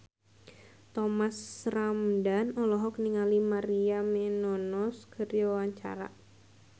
Thomas Ramdhan olohok ningali Maria Menounos keur diwawancara